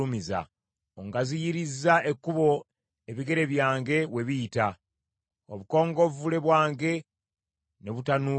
Ongaziyirizza ekkubo ebigere byange we biyita, obukongovvule bwange ne butanuuka.